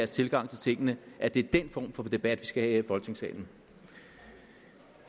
tilgang til tingene at det er den form for debat vi skal have her i folketingssalen